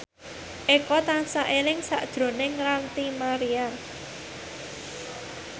Eko tansah eling sakjroning Ranty Maria